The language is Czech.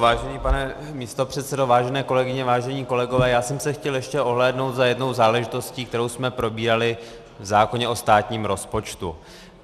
Vážený pane místopředsedo, vážené kolegyně, vážení kolegové, já jsem se chtěl ještě ohlédnout za jednou záležitostí, kterou jsme probírali v zákoně o státním rozpočtu.